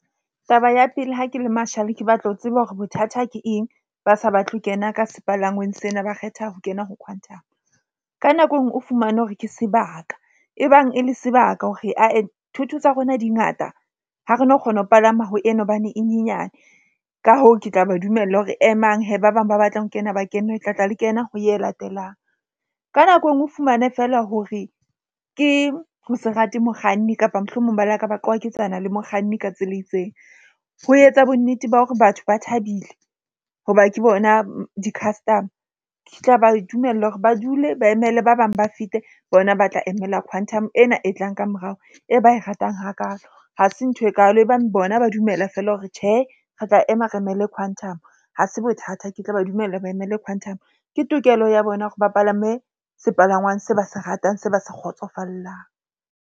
Taba ya pele, ha ke le marshall, ke batla ho tseba hore bothata ke eng ba sa batle ho kena ka sepalangwang sena, ba kgetha ho kena ho Quantum. Ka nako enngwe o fumane hore ke sebaka e bang e le sebaka hore ae thotho tsa rona di ngata. Ha re no kgona ho palama ho ena hobane e nyenyane. Ka hoo, ke tla ba dumella hore emang ba bang ba batlang ho kena ba kene le tla tla le kena ho ye latelang. Ka nako enngwe o fumane feela hore ke ho se rate mokganni kapa mohlomong ba le ka qwaketsana le mokganni ka tsela e itseng, ho etsa bonnete ba hore batho ba thabile hoba ke bona di-customer. Ke tla ba dumellwa hore ba dule ba emele ba bang ba fete bona ba tla emela Quantum ena e tlang ka morao e ba e ratang hakaalo. Hase ntho e kaalo e bang bona ba dumela feela hore tjhe re tla ema re emela Quantum. Ha se bothata, ke tla ba dumella ba emele Quantum. Ke tokelo ya bona hore ba palame sepalangwang se ba se ratang, se ba sa kgotsofallang.